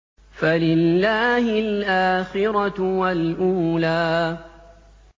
فَلِلَّهِ الْآخِرَةُ وَالْأُولَىٰ